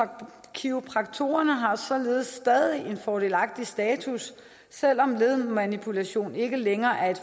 kiropraktorerne har således stadig en fordelagtig status selv om ledmanipulation ikke længere er